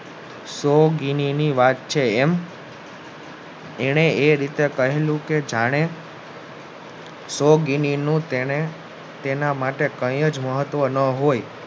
સો ગીની ની વાત છેએમ એને એ રીતે કહેલું કે જાણે સો ગીની નું તેને માટે કાયજ મહત્વ ના હોય